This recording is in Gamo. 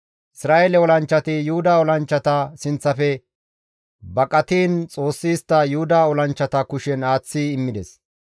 Isra7eele olanchchati Yuhuda olanchchata sinththafe baqatiin Xoossi istta Yuhuda olanchchata kushen aaththi immides.